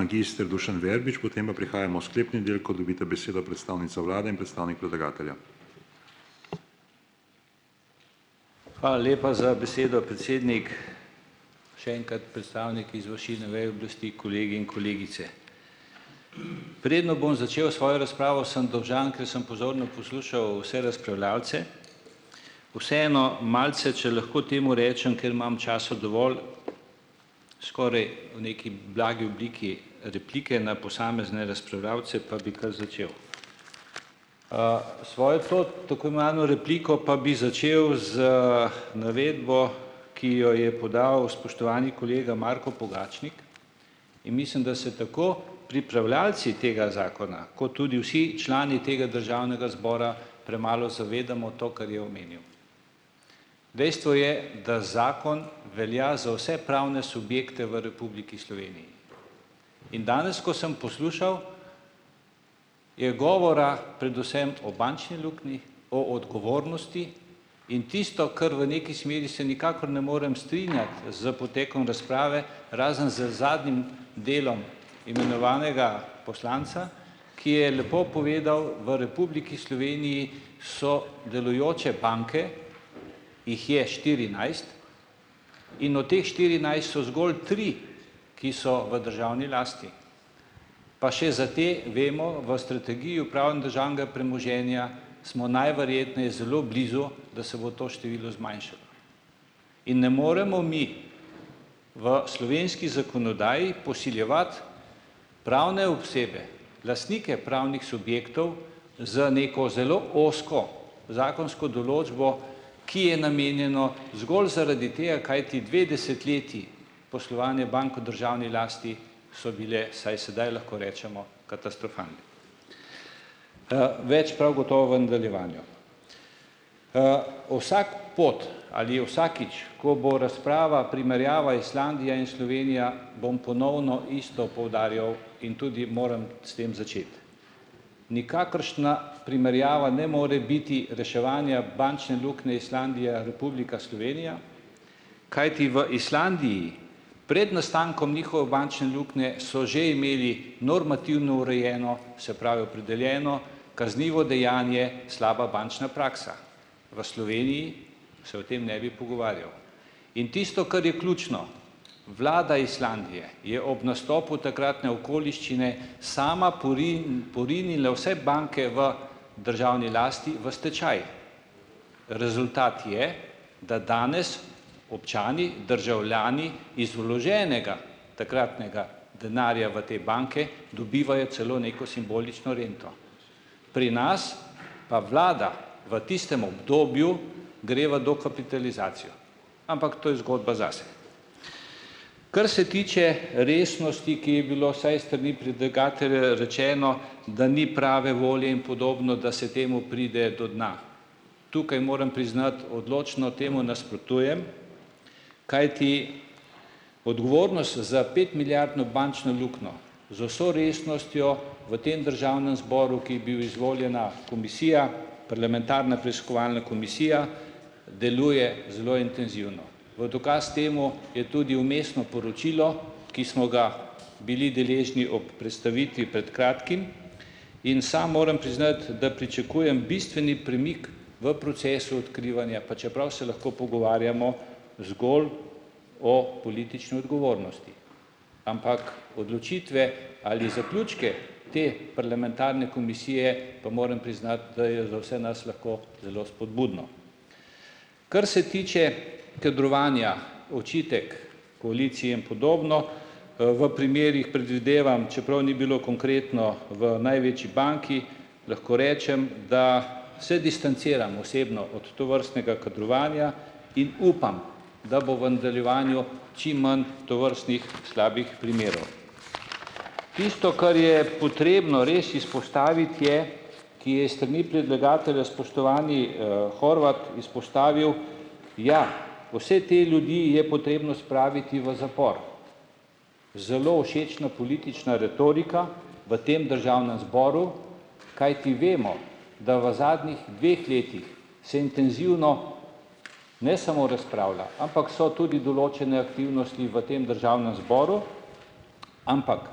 Hvala lepa za besedo, predsednik. Še enkrat, predstavniki izvršilne veje oblasti, kolegi in kolegice. Preden bom začel svojo razpravo sem dolžan, ker sem pozorno poslušal vse, vseeno malce, če lahko temu rečem, ker imam časa dovolj, skoraj v neki blagi obliki replike na posamezne razpravljavce pa bi kar začel. Svojo to repliko pa bi začel z navedbo, ki jo je podal spoštovani kolega Marko Pogačnik in mislim, da se tako pripravljavci tega zakona kot tudi vsi člani tega državnega zbora premalo zavedamo to, kar je omenil. Dejstvo je, da zakon velja za vse pravne subjekte v Republiki Sloveniji. In danes, ko sem poslušal, je govora predvsem o bančni luknji, o odgovornosti in tisto, ker v nekaj smeri se nikakor ne morem strinjati s potekom razprave, razen z zadnjim delom imenovanega poslanca, ki je lepo povedal, v Republiki Sloveniji so delujoče banke, jih je štirinajst, in o teh so zgolj tri, ki so v državni lasti, pa še za te vemo v strategiji premoženja, smo najverjetneje zelo blizu, da se bo to število zmanjšalo. In ne moremo mi v slovenski zakonodaji posiljevati pravne osebe, lastnike pravnih subjektov z neko zelo ozko zakonsko določbo, ki je namenjeno zgolj zaradi tega, kajti dve desetletji poslovanja bank v državni lasti sta bili, saj sedaj lahko rečemo, katastrofalni. Več prav gotovo v nadaljevanju. vsak pot ali vsakič, ko bo razprava, primerjava Islandija in Slovenija, bom ponovno isto poudarjal in tudi moram s tem začeti. Nikakršna primerjava ne more biti reševanje bančne luknje Islandija - Republika Slovenija, kajti v Islandiji pred nastankom njihove bančne luknje so že imeli normativno urejeno, se pravi, opredeljeno kaznivo dejanje slaba bančna praksa. V Sloveniji se o tem ne bi pogovarjal. In tisto, kar je ključno, vlada Islandije je ob nastopu takratne okoliščine sama porinila vse banke v državni lasti v stečaj. Rezultat je, da danes občani, državljani iz vloženega takratnega denarja v te banke dobivajo celo neko simbolično rento. Pri nas pa vlada v tistem obdobju gre v dokapitalizacijo, ampak to je zgodba zase. Kar se tiče resnosti, ki je bilo, saj s strani predlagatelja rečeno, da ni prave volje in podobno, da se temu pride do dna. Tukaj moram priznati, odločno temu nasprotujem, kajti za petmilijardno bančno luknjo z vso resnostjo v tem državnem zboru, ki je bil izvoljena komisija parlamentarna preiskovalna komisija, deluje zelo intenzivno. V dokaz temu je tudi vmesno poročilo, ki smo ga bili deležni ob predstavitvi pred kratkim in sam moram priznati, da pričakujem bistveni premik v procesu odkrivanja, pa čeprav se lahko pogovarjamo zgolj o politični odgovornosti. Ampak odločitve ali zaključke te parlamentarne komisije, pa moram priznati, da je za vse nas lahko zelo spodbudno. Kar se tiče kadrovanja, očitek koalicije in podobno, v primerih predvidevam, čeprav ni bilo konkretno v največji banki, lahko rečem, da se distanciram osebno od tovrstnega kadrovanja in upam, da bo v nadaljevanju čim manj tovrstnih slabih primerov. Tisto, kar je potrebno res izpostaviti, je , ki je iz strani predlagatelja, spoštovani, Horvat izpostavil, ja, vse te ljudi je potrebno spraviti v zapor. Zelo všečna politična retorika v tem državnem zboru, kajti vemo, da v zadnjih dveh letih se intenzivno, ne samo razpravlja, ampak so tudi določene aktivnosti v tem državnem zboru, ampak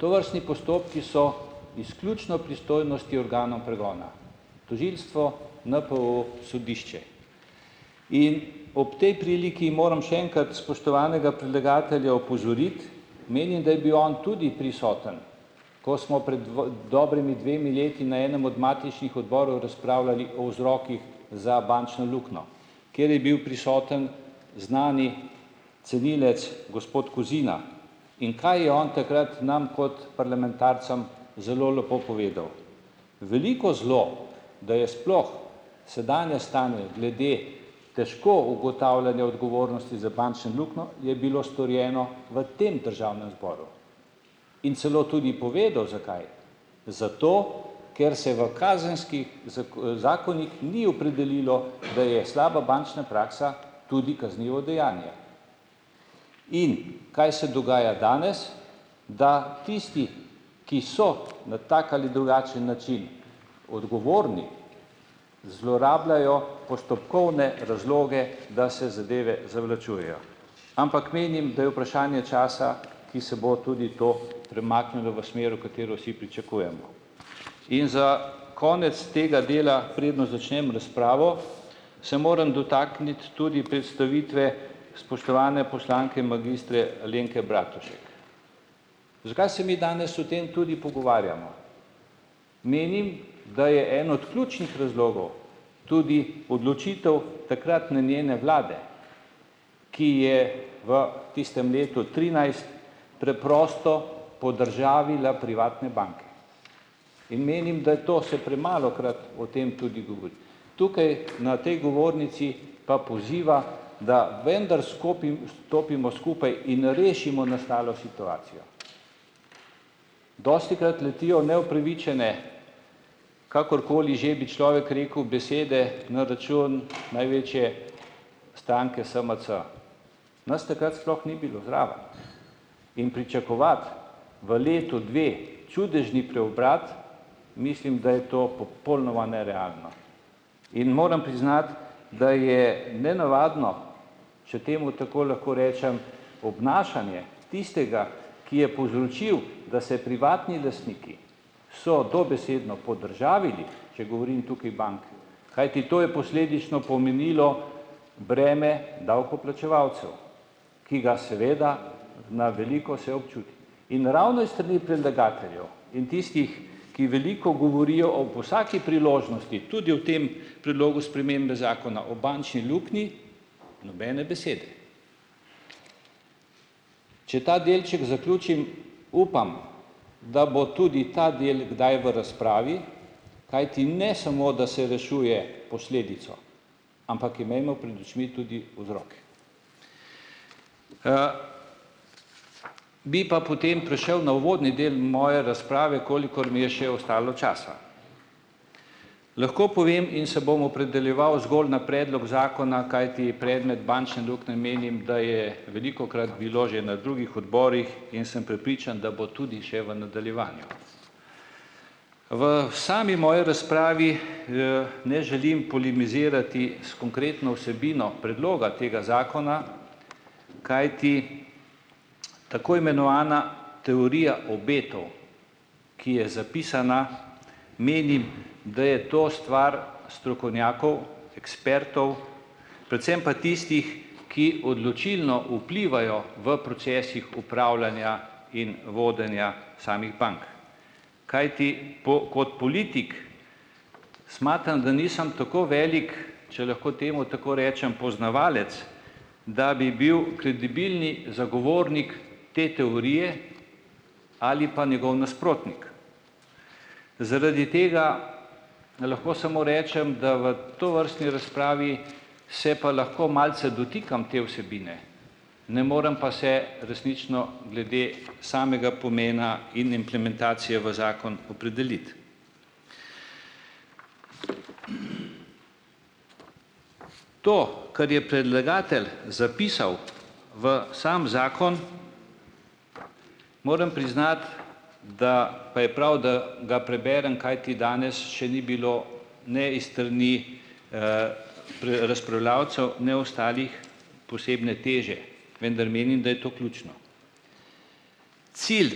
tovrstni postopki so izključno pristojnosti organov pregona. Tožilstvo, NPU, sodišče. In ob tej priliki moram še enkrat spoštovanega predlagatelja opozoriti, menim, da je bil on tudi prisoten, ko smo pred dobrima dvema letoma na enem od matičnih odborov razpravljali o vzrokih za bančno luknjo, kjer je bil prisoten znani cenilec gospod Kozina, in kaj je on takrat nam kot parlamentarcem zelo lepo povedal. Veliko zelo, da je sploh sedanje stanje glede težko ugotavljanja odgovornosti za bančne luknjo je bilo storjeno v tem državnem zboru in celo tudi povedal zakaj. Zato, ker se v kazenskih zakonih ni opredelilo, da je slaba bančna praksa tudi kaznivo dejanje. In kaj se dogaja danes? Da tisti, ki so na tak ali drugačen način odgovorni, zlorabljajo postopkovne razloge, da se zadeve zavlačujejo, ampak menim, da je vprašanje časa, ki se bo tudi to premaknilo v smer, v katero vsi pričakujemo. In za konec tega dela, preden začnem razpravo, se moram dotakniti tudi predstavitve spoštovane poslanke magistre Alenke Bratušek. Zakaj se mi danes o tem tudi pogovarjamo? Menim, da je en od ključnih razlogov tudi odločitev takratne njene vlade, ki je v tistem letu trinajst preprosto podržavila privatne banke. In menim, da je to se premalokrat o tem tudi govori. Tukaj na tej govornici pa poziva, da vendar stopimo skupaj in rešimo nastalo situacijo. Dostikrat letijo neupravičene, kakorkoli že bi človek rekel, besede na račun največje stranke SMC. Nas takrat sploh ni bilo zraven in pričakovati v letu, dveh čudežni preobrat, mislim, da je to popolnoma nerealno. In moram priznati, da je nenavadno, če temu tako lahko rečem, obnašanje tistega, ki je povzročil, da se privatni lastniki, so dobesedno podržavili, če govorim tukaj bank, kajti to je posledično pomenilo breme davkoplačevalcev, ki ga seveda na veliko se občuti, in ravno iz strani predlagateljev in tistih, ki veliko govorijo ob vsaki priložnosti, tudi v tem predlogu spremembe Zakona o bančni luknji nobene besede. Če ta delček zaključim, upam, da bo tudi ta del kdaj v razpravi, kajti ne samo, da se rešuje posledico, ampak imejmo pred očmi tudi vzrok. Bi pa potem prešel na uvodni del moje razprave, kolikor mi je še ostalo časa. Lahko povem in se bom opredeljeval zgolj na predlog zakona, kajti predmet bančne luknje, menim, da je velikokrat bil že na drugih odborih, in sem prepričan, da bo tudi še v nadaljevanju. V sami moji razpravi, ne želim polemizirati s konkretno vsebino predloga tega zakona, kajti tako imenovana teorija obetov, ki je zapisana, menim, da je to stvar strokovnjakov, ekspertov, predvsem pa tistih, ki odločilno vplivajo v procesih upravljanja in vodenja samih bank, kajti kot politik smatram, da nisem tako velik, če lahko temu tako rečem, poznavalec, da bi bil kredibilen zagovornik te teorije ali pa njegov nasprotnik. Zaradi tega lahko samo rečem, da v tovrstni razpravi se pa lahko malce dotikam te vsebine, ne morem pa se resnično glede samega pomena in implementacije v zakon opredeliti. To, kar je predlagatelj zapisal v sam zakon, moram priznati, da pa je prav, da ga preberem, kajti danes še ni bilo ne iz strani razpravljavcev, ne ostalih posebne teže, vendar menim, da je to ključno. Cilj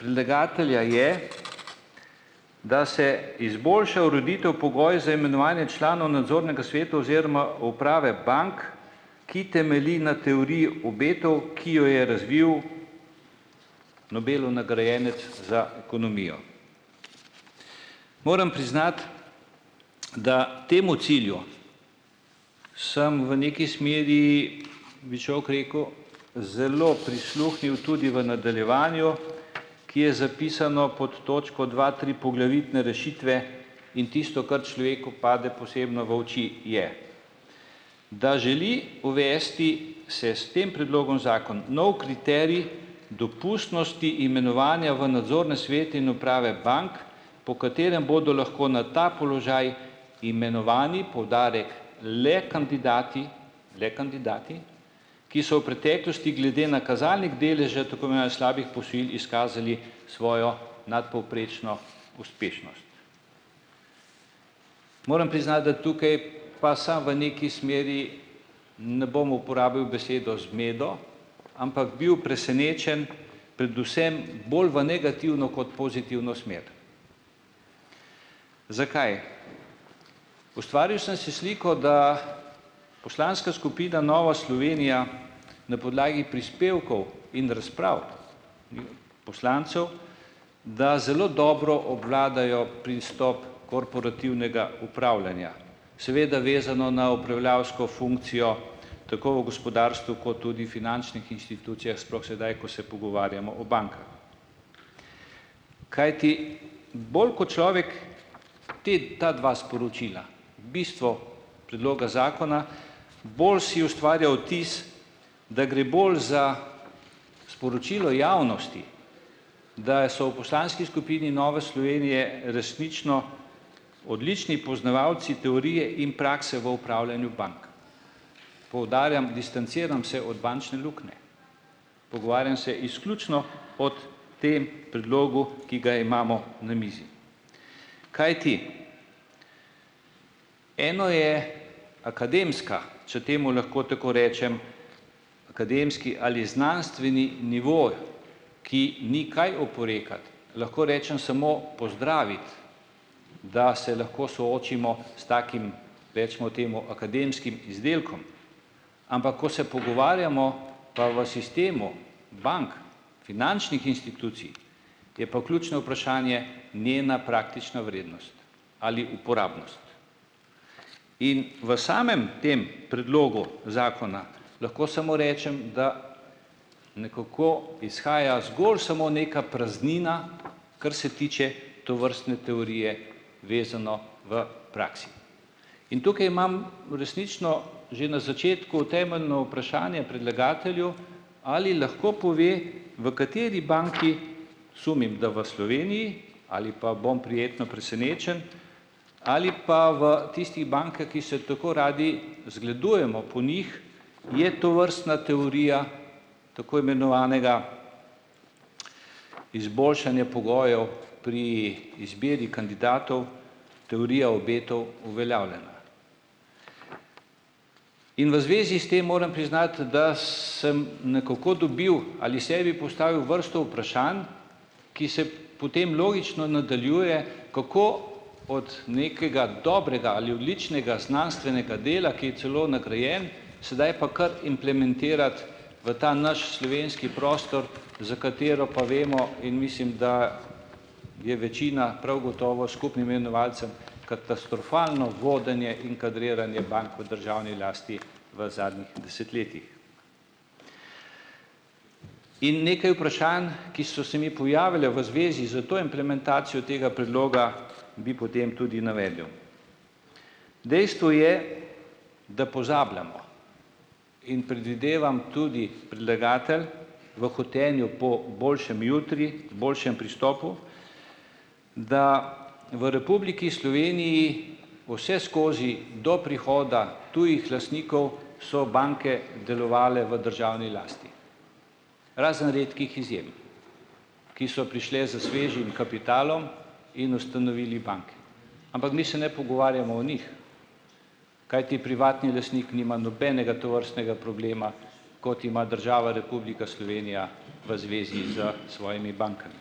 predlagatelja je, da se izboljša ureditev, pogoj za imenovanje članov nadzornega sveta oziroma uprave bank, ki temelji na teoriji obetov, ki jo je razvil Nobelov nagrajenec za ekonomijo. Moram priznati, da temu cilju samo v neki smeri, bi človek rekel, zelo prisluhnil tudi v nadaljevanju , ki je zapisan pod točko dva tri. Poglavitne rešitve in tisto, kar človeku pade posebno v oči, je, da želi uvesti se s tem predlogom zakon nov kriterij dopustnosti imenovanja v nadzorne svete in uprave bank, po katerem bodo lahko na ta položaj imenovani, poudarek, le kandidati, le kandidati, ki so v preteklosti, glede na kazalnik deleža svojo nadpovprečno uspešnost. Moram priznati, da tukaj pa sem v neki smeri, ne bom uporabil besedo zmedo, ampak bil presenečen predvsem bolj v negativno kot pozitivno smer. Zakaj? Ustvaril sem si sliko, da poslanska skupina Nova Slovenija na podlagi prispevkov in razprav poslancev, da zelo dobro obvladajo pristop korporativnega upravljanja. Seveda vezano na upravljavsko funkcijo tako v gospodarstvu ko tudi finančnih institucijah, sploh sedaj, ko se pogovarjamo o bankah. Kajti bolj, ko človek ti ti dve sporočila, bistvo predloga zakona, bolj si ustvarja vtis, da gre bolj za sporočilo javnosti, da je so v poslanski skupini Nove Slovenije resnično odlični poznavalci teorije in prakse v upravljanju bank. Poudarjam, distanciram se od bančne luknje. Pogovarjam se izključno o tem predlogu, ki ga imamo na mizi. Kajti, eno je akademska, če temu lahko tako rečem, akademski ali znanstveni nivo, ki ni kaj oporekati. Lahko rečem samo pozdraviti, da se lahko soočimo s takim, recimo temu, akademskim izdelkom. Ampak ko se pogovarjamo pa v sistemu bank finančnih institucij, je pa ključno vprašanje njena praktična vrednost ali uporabnost. In v samem tem predlogu zakona lahko samo rečem, da nekako izhaja zgolj samo neka praznina, kar se tiče tovrstne teorije, vezano v praksi. In tukaj imam resnično že na začetku temeljno vprašanje predlagatelju, ali lahko pove, v kateri banki , sumim, da v Sloveniji ali pa bom prijetno presenečen, ali pa v tistih bankah, ki se tako radi zgledujemo po njih, je tovrstna teorija tako imenovanega izboljšanja pogojev pri izbiri kandidatov, teorija obetov, uveljavljena. In v zvezi s tem moram priznati, da sem nekako dobil ali sebi postavil vrsto vprašanj, ki se potem logično nadaljuje, kako od nekega dobrega ali odličnega znanstvenega dela, ki je celo nagrajeno, sedaj pa kar implementirati v ta naš slovenski prostor, za katerega pa vemo in mislim, da je večina prav gotovo s skupnim imenovalcem, katastrofalno vodenje in kadriranje bank v državni lasti v zadnjih desetletjih. In nekaj vprašanj, ki so se mi pojavila v zvezi s to implementacijo tega predloga, bi potem tudi navedel. Dejstvo je, da pozabljamo, in predvidevam tudi predlagatelj v hotenju po boljšem jutri, boljšem pristopu, da v Republiki Sloveniji vseskozi do prihoda tujih lastnikov so banke delovale v državni lasti, razen redkih izjem, ki so prišli s svežim kapitalom in ustanovili banke. Ampak mi se ne pogovarjamo o njih. Kajti privatni lastnik nima nobenega tovrstnega problema, kot ima država Republika Slovenija v zvezi s svojimi bankami.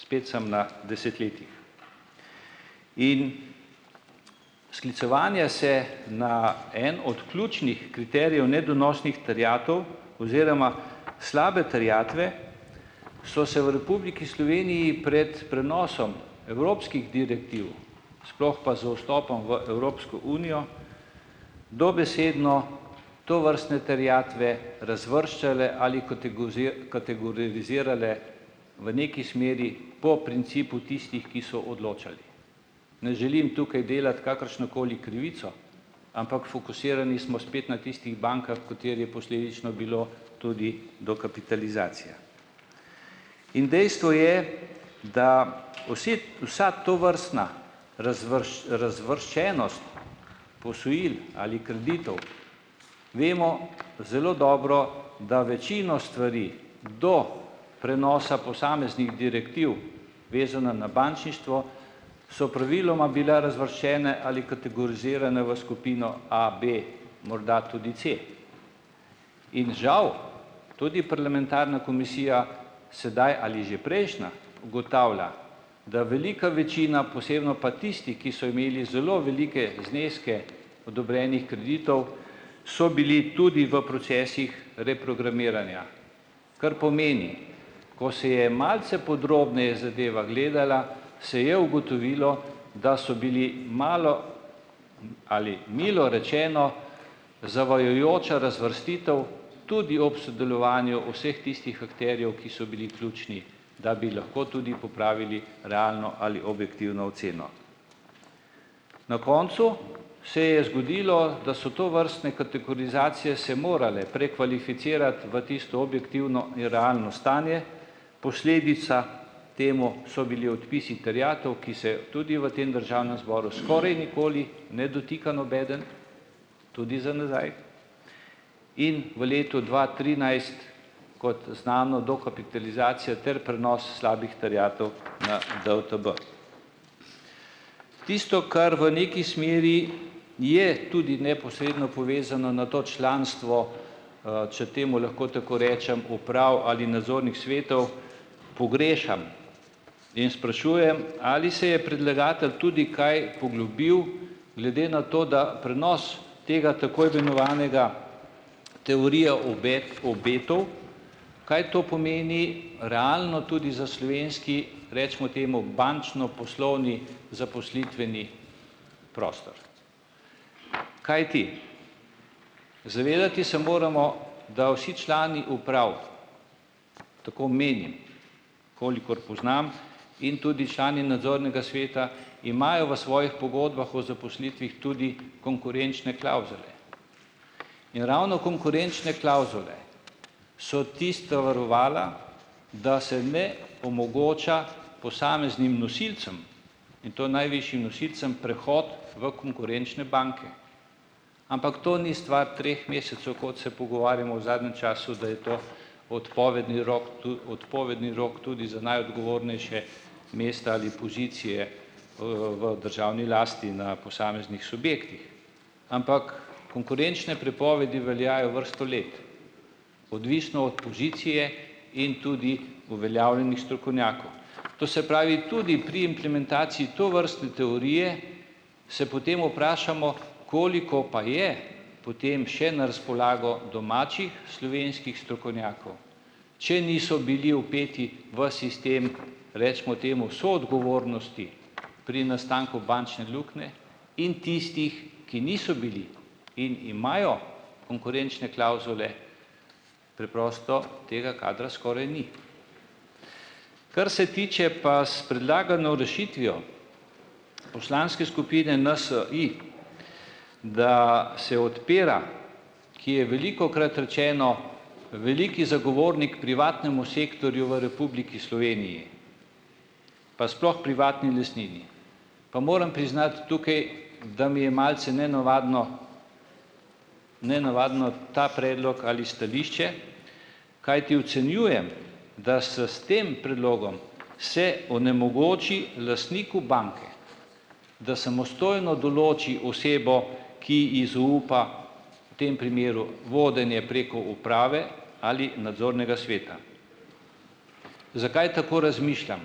Spet sem na desetletjih. In ... Sklicevanje se na enega od ključnih kriterijev nedonosnih terjatev oziroma slabe terjatve so se v Republiki Sloveniji pred prenosom evropskih direktiv, sploh pa z vstopom v Evropsko unijo, dobesedno tovrstne terjatve razvrščale ali kategorizirale v neki smeri po principu tistih, ki so odločali. Ne želim tukaj delati kakršnokoli krivico, ampak fokusirani smo spet na tistih bankah, v katerih je posledično bilo tudi dokapitalizacija. In dejstvo je, da vsi vsa tovrstna razvrščenost posojil ali kreditov, vemo zelo dobro, da večino stvari do prenosa posameznih direktiv, vezanih na bančništvo, so praviloma bila razvrščene ali kategorizirane v skupino A, B, morda tudi C. In žal, tudi parlamentarna komisija sedaj ali že prejšnja ugotavlja, da velika večina, posebno pa tisti, ki so imeli zelo velike zneske odobrenih kreditov, so bili tudi v procesih reprogramiranja, kar pomeni, ko se je malce podrobneje zadeva gledala, se je ugotovilo, da so bili malo ali milo rečeno, zavajajoča razvrstitev tudi ob sodelovanju vseh tistih akterjev, ki so bili ključni, da bi lahko tudi popravili realno ali objektivno oceno. Na koncu se je zgodilo, da so tovrstne kategorizacije se morale prekvalificirati v tisto objektivno in realno stanje, posledica temu so bili odpisi terjatev, ki se tudi v tem državnem zboru skoraj nikoli ne dotika nobeden, tudi za nazaj. In v letu dva trinajst, kot znano, dokapitalizacija ter prenos slabih terjatev na DUTB . Tisto, kar v neki smeri je tudi neposredno povezano na to članstvo, če temu lahko tako rečem, uprav ali nadzornih svetov, pogrešam in sprašujem, ali se je predlagatelj tudi kaj poglobil, glede na to, da prenos te tako imenovane teorije obetov, kaj to pomeni realno tudi za slovenski, recimo temu bančno poslovni zaposlitveni prostor. Kajti zavedati se moramo, da vsi člani uprav, tako menim, kolikor poznam, in tudi člani nadzornega sveta imajo v svojih pogodbah o zaposlitvi tudi konkurenčne klavzule. In ravno konkurenčne klavzule so tista varovala, da se ne omogoča posameznim nosilcem, in to najvišjim nosilcem, prehod v konkurenčne banke. Ampak to ni stvar treh mesecev, kot se pogovarjamo v zadnjem času, da je to odpovedni rok odpovedni rok tudi za najodgovornejša mesta ali pozicije, v državni lasti na posameznih subjektih. Ampak konkurenčne prepovedi veljajo vrsto let, odvisno od pozicije in tudi uveljavljenih strokovnjakov. To se pravi, tudi pri implementaciji tovrstne teorije se potem vprašamo, koliko pa je potem še na razpolago domačih slovenskih strokovnjakov, če niso bili vpeti v sistem recimo temu soodgovornosti pri nastanku bančne luknje, in tistih, ki niso bili in imajo konkurenčne klavzule, preprosto tega kadra skoraj ni. Kar se tiče pa s predlagano rešitvijo poslanske skupine NSi, da se odpira, ki je velikokrat rečeno veliki zagovornik privatnemu sektorju v Republiki Sloveniji pa sploh privatni lastnini, pa moram priznati tukaj, da mi je malce nenavaden, nenavaden ta predlog ali stališče, kajti ocenjujem, da s tem predlogom se onemogoči lastniku banke, da samostojno določi osebo, ki ji zaupa, v tem primeru vodenje preko uprave ali nadzornega sveta. Zakaj tako razmišljam?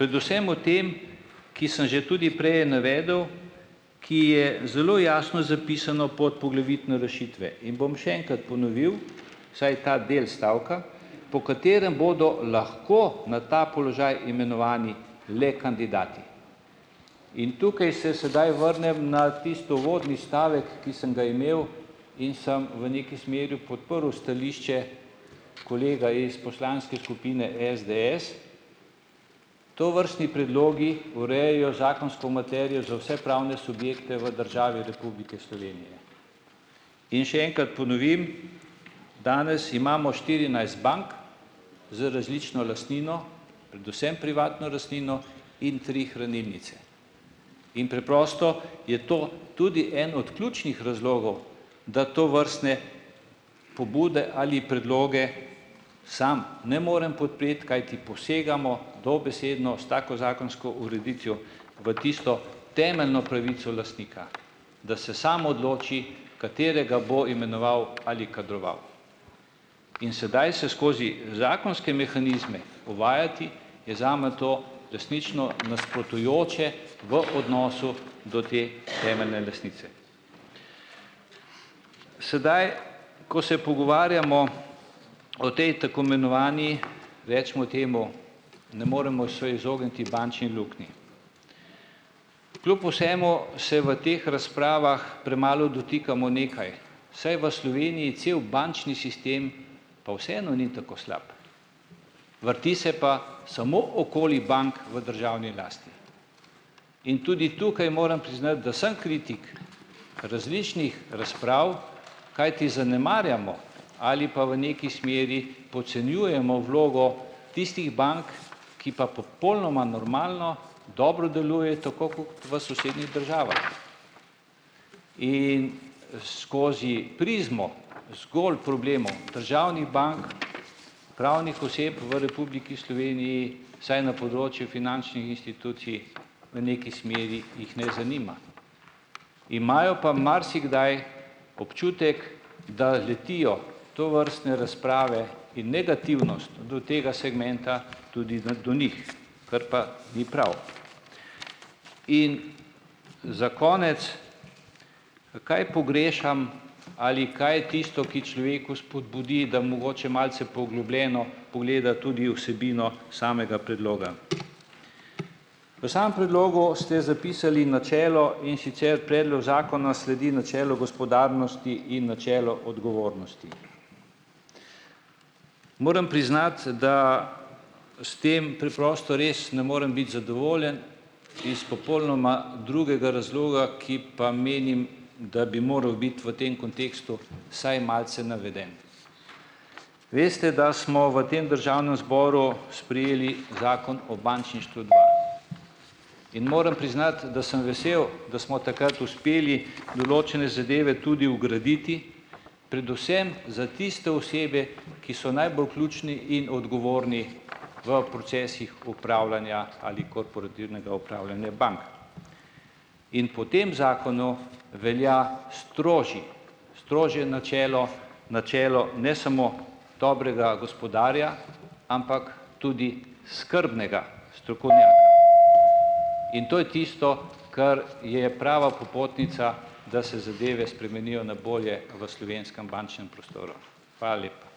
Predvsem o tem, ki sem že tudi prej navedel, ki je zelo jasno zapisano pod poglavitno rešitve in bom še enkrat ponovil, vsaj ta del stavka, po katerem bodo lahko na ta položaj imenovani le kandidati. In tukaj se sedaj vrnem na tisti uvodni stavek, ki sem ga imel in sem v neki smeri podprl stališče kolega iz poslanske skupine SDS. Tovrstni predlogi urejajo zakonsko materijo za vse pravne subjekte v državi Republike Slovenije. In še enkrat ponovim, danes imamo bank z različno lastnino, predvsem privatno lastnino in tri hranilnice. In preprosto je to tudi en od ključnih razlogov, da tovrstne pobude ali predloge sam ne morem podpreti, kajti posegamo dobesedno s tako zakonsko ureditvijo v tisto temeljno pravico lastnika, da se sam odloči, katerega bo imenoval ali kadroval. In sedaj se skozi zakonske mehanizme uvajati je zame to resnično nasprotujoče v odnosu do te temeljne lastnice. Sedaj, ko se pogovarjamo o tej tako imenovani, recimo temu, ne moremo se izogniti bančni luknji. Kljub vsemu se v teh razpravah premalo dotikamo nekaj, saj v Sloveniji cel bančni sistem pa vseeno ni tako slab. Vrti se pa samo okoli bank v državni lasti. In tudi tukaj moram priznati, da sem kritik različnih razprav, kajti zanemarjamo ali pa v nekaj smeri podcenjujemo vlogo tistih bank, ki pa popolnoma normalno dobro delujejo tako kot v sosednjih državah . In skozi prizmo zgolj problemov državnih bank , pravnih oseb v Republiki Sloveniji, vsaj na področju v neki smeri jih ne zanima. Imajo pa marsikdaj občutek, da letijo tovrstne razprave in negativnost do tega segmenta tudi na do njih, kar pa ni prav. In za konec, kaj pogrešam ali kaj je tisto, ki človeku spodbudi, da mogoče malce poglobljeno pogleda tudi vsebino samega predloga. V samem predlogu ste zapisali načelo, in sicer predlog zakona sledi načelu gospodarnosti in načelu odgovornosti. Moram priznati, da s tem preprosto res ne morem biti zadovoljen iz popolnoma drugega razloga, ki pa menim, da bi moral biti v tem kontekstu vsaj malce naveden. Veste, da smo v tem državnem zboru sprejeli Zakon o bančništvu dva . In moram priznati, da sem vesel, da smo takrat uspeli določene zadeve tudi vgraditi, predvsem za tiste osebe, ki so najbolj ključni in odgovorni v procesih upravljanja ali korporativnega upravljanje bank. In po tem zakonu velja strožji strožje načelo, načelo ne samo dobrega gospodarja, ampak tudi skrbnega. In to je tisto, kar je prava popotnica, da se zadeve spremenijo na bolje v slovenskem bančnem prostoru. Hvala lepa.